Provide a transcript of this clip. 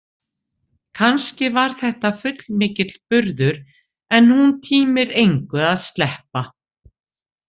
Kannski var þetta fullmikill burður en hún tímir engu að sleppa.